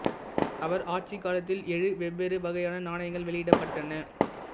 அவரது ஆட்சிக் காலத்தில் ஏழு வெவ்வேறு வகையான நாணயங்கள் வெளியிடப்பட்டன